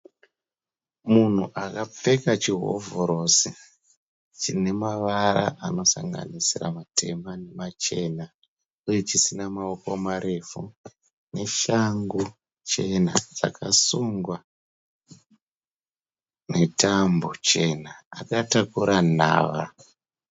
Munhu akapfeka chihovhorosi chine mavara anosanganisira matema nemachena uye chisina mawoko marefu neshangu chena dzakasungwa netambo chena. Akatakura nhava.